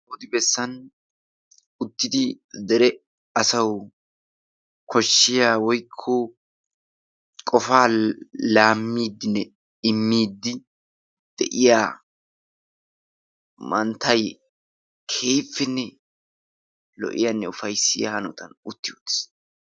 Odi bessan uttidi dere asawu koshshiyaa woykko qofaa laamidinne imidi de'iyaa manttay keehippenne lo''iyanne ufayssiya hanotan utti uttiis.